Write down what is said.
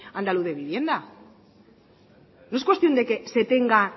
andaluz de vivienda no es cuestión de que se tenga